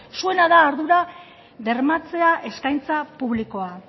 zuena da ardura bermatzea eskaintza publikoa